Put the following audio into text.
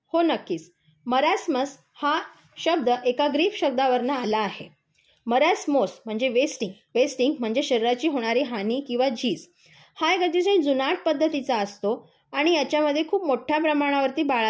हो नक्कीच. मरासमस हा शब्द एका ग्रीक शब्दावरून आलेला आहे. मरसमोस म्हणजे वेस्टिंग म्हणजे शरीराची होणारी हानी किंवा झीज. हा एक अतिशय जुनाट पध्दतीचा असतो. आणि याच्यामध्ये खूप मोठ्या प्रमाणावर बाळाचे